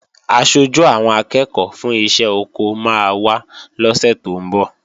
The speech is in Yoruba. Aṣojú àwọn akẹ́ẹ̀kọ́ fún iṣẹ́ oko máa wá lọ́sè tó ń bọ̀